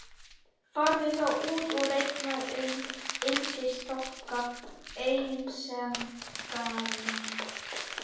Farðu þá út og reikaðu um yndisþokka einsemdarinnar.